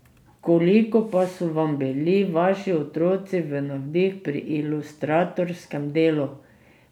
Koliko pa so vam bili vaši otroci v navdih pri ilustratorskem delu?